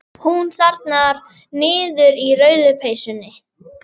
Hún þarna niðri í rauðu peysunni.